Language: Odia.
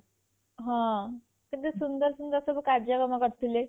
ହଁ କେତେ ସୁନ୍ଦର ସୁନ୍ଦର କାର୍ଯ୍ୟକ୍ରମ ସବୁ କରିଥିଲେ